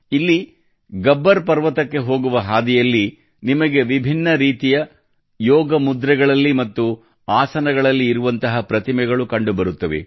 ಇಲ್ಲಿ ಗಬ್ಬರ್ ಪರ್ವತಕ್ಕೆ ಹೋಗುವ ಹಾದಿಯಲ್ಲಿ ನಿಮಗೆ ವಿಭಿನ್ನ ರೀತಿಯ ಯೋಗ ಮುದ್ರೆಗಳಲ್ಲಿ ಮತ್ತು ಆಸನಗಳಲ್ಲಿ ಇರುವಂತಹ ಪ್ರತಿಮೆಗಳು ಕಂಡುಬರುತ್ತವೆ